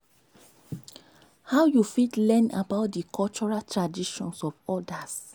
how you fit learn about di cultural traditions of odas?